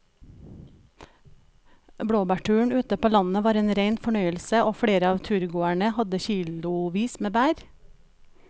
Blåbærturen ute på landet var en rein fornøyelse og flere av turgåerene hadde kilosvis med bær.